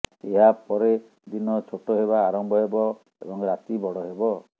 ଏହା ପରେ ଦିନ ଛୋଟ ହେବା ଆରମ୍ଭ ହେବ ଏବଂ ରାତି ବଡ଼ ହେବ